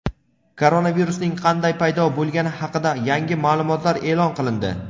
Koronavirusning qanday paydo bo‘lgani haqida yangi ma’lumotlar e’lon qilindi.